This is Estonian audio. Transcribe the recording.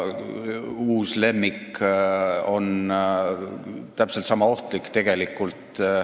Uus lemmik on aga tegelikult täpselt sama ohtlik.